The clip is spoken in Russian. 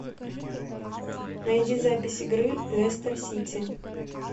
найди запись игры лестер сити